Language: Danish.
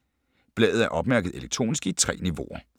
Bladet er opmærket elektronisk i 3 niveauer.